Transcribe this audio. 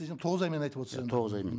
тоғыз аймен айтып отырсыз енді тоғыз аймен